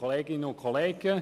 der BaK.